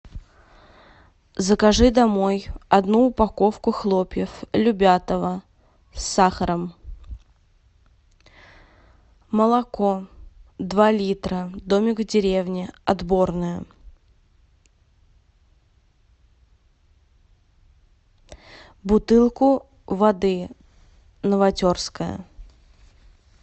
закажи домой одну упаковку хлопьев любятово с сахаром молоко два литра домик в деревне отборное бутылку воды новотерская